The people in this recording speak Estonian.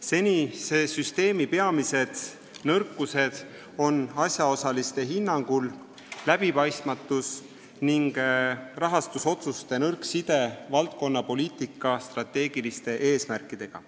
Senise süsteemi peamised nõrkused on asjaosaliste hinnangul läbipaistmatus ning rahastusotsuste nõrk side valdkonnapoliitika strateegiliste eesmärkidega.